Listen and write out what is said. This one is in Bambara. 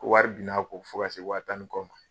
Ko wari bin n'a kɔ fɔ ka se wa tan ni kɔ ma.